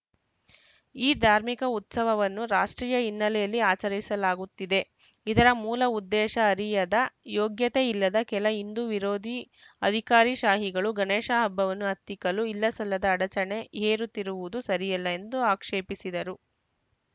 ಈ ಧಾರ್ಮಿಕ ಉತ್ಸವವನ್ನು ರಾಷ್ಟ್ರೀಯ ಹಿನ್ನೆಲೆಯಲ್ಲಿ ಆಚರಿಸಲಾಗುತ್ತಿದೆ ಇದರ ಮೂಲ ಉದ್ದೇಶ ಅರಿಯದ ಯೋಗ್ಯತೆ ಇಲ್ಲದ ಕೆಲ ಹಿಂದು ವಿರೋಧಿ ಅಧಿಕಾರಿಶಾಹಿಗಳು ಗಣೇಶ ಹಬ್ಬವನ್ನು ಹತ್ತಿಕ್ಕಲು ಇಲ್ಲಸಲ್ಲದ ಅಡಚಣೆ ಹೇರುತ್ತಿರುವುದು ಸರಿಯಲ್ಲ ಎಂದು ಆಕ್ಷೇಪಿಸಿದರು